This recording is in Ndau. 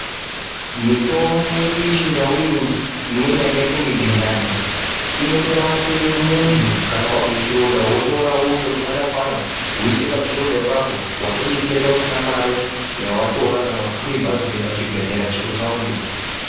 Mitombo yedu yechindau imwi imweni yakaita kunge gezhani inotorape muntu kana vazwe chironda votora vondoritswanya-tswanya, voisa pachironda ipapo vatobetsereka usina mare yavatora kana kukwire bhazi kuenda kuchibhedhlera chekutaundi.